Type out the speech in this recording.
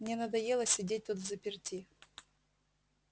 мне надоело сидеть тут взаперти